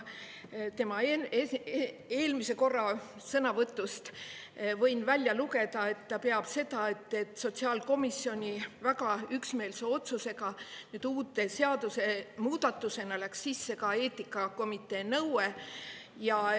Tema eelmise korra sõnavõtust võin välja lugeda, et ta peab seda, et sotsiaalkomisjoni väga üksmeelse otsusega uue seadusmuudatusena läks sisse ka eetikakomitee nõue.